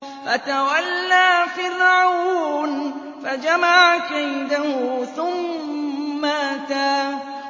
فَتَوَلَّىٰ فِرْعَوْنُ فَجَمَعَ كَيْدَهُ ثُمَّ أَتَىٰ